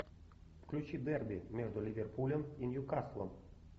включи дерби между ливерпулем и ньюкаслом